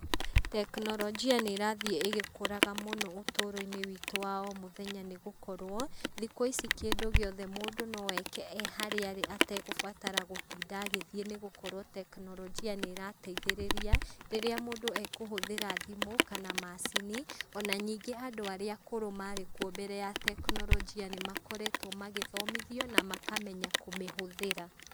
Tekinolojia nĩ ĩrathiĩ ĩgĩkũraga mũno ũtũũro-inĩ witũ wa o mũthenya nĩgũkorwo, thikũ ici kĩndũ gĩothe mũndũ noeke e harĩa arĩ ategũbatara gũtinda agĩthiĩ, nĩ gũkorwo tekinolojia nĩ ĩrateithĩrĩria, rĩrĩa mũndũ ekũhũthĩra thimũ, kana macini, ona nyingĩ andũ arĩa akũrũ marĩ kuo hĩndĩ ya tekinolojia, nĩ makoretwo magĩthomithia na makamenya kũmĩhũthĩra .